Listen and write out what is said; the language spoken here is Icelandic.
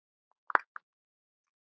Þau eru um Ekkert.